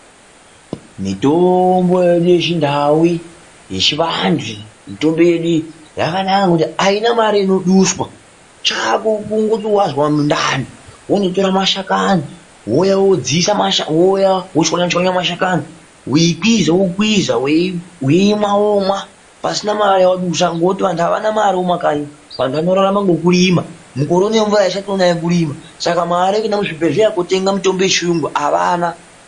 Mitombo yedu yechiNdau yechivantu yakanaka nekuti haina mare inoduswa chako kungoti wazwa mundani wonotora mashakani wouya wochwanyachwanya mashakani weikwiza wokwiza weimwa womwa pasina mare yawadusa ngokuti vanhu Havana mare mumakanyi vanhu vanorarama nekurima mukore unowu mvura haichatonayi yekurima saka vanhu mare yekuenda kuzvibhehlera veitenga mitombo havana